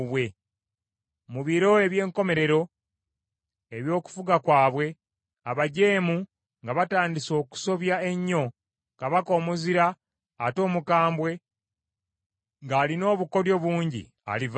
“Mu biro eby’enkomerero eby’okufuga kwabwe, abajeemu nga batandise okusobya ennyo, kabaka omuzira ate omukambwe, ng’alina obukoddyo bungi alivaayo.